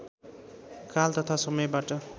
काल तथा समयबाट